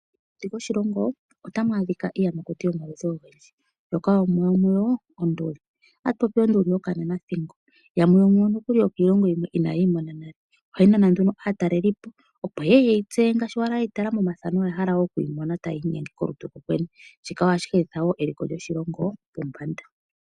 Mokati koshilongo otamu adhika iiyamakuti yomaludhi ogendji yimwe yomuyo oyo onduli. Otatu popi onduli yokananathingo. Yamwe yomuyo nokuli yokiilongo yimwe inaye yi mona nale. Ohayi nana nduno aatalelipo, opo ye ye ye yi tseye ngaashi ye yi tala momathano, oya hala nduno okuyi mona tayi inyenge kolutu kokwene. Shika ohashi humitha wo eliko lyoshilongo pombanda.